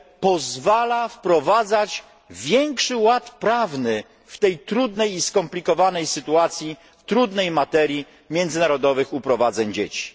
pozwala wprowadzać większy ład prawny w tej trudnej i skomplikowanej sytuacji dotyczącej międzynarodowych uprowadzeń dzieci.